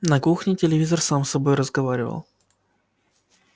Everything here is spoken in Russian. на кухне телевизор сам с собой разговаривал